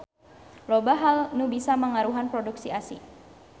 Loba hal anu bisa mangaruhan produksi ASI.